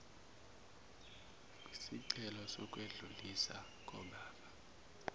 kwisicelo sokwedluliswa kodaba